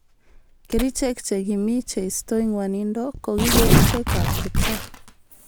Kericheek che kimii cheistoi ngwanindo koki kerchek ab kipkaa